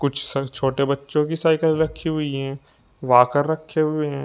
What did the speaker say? कुछ शा छोटे बच्चों की साइकल रखी हुई हैं वॉकर रखें हुए हैं।